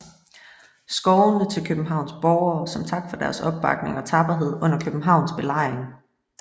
III skovene til Københavns borgere som tak for deres opbakning og tapperhed under Københavns belejring